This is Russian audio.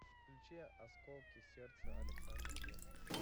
включи осколки сердца александр вестов